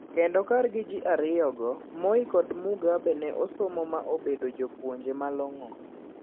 Kendo kargi ji ariyogo Moi gi Mugabe ne osomo ma obedo jopuonje malong`o.